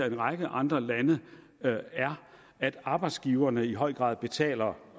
en række andre lande er at arbejdsgiverne i høj grad betaler